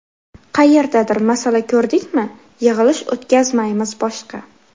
Qayerdadir masala ko‘rdikmi, yig‘ilish o‘tkazmaymiz boshqa.